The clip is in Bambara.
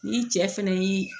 Ni cɛ fɛnɛ y'i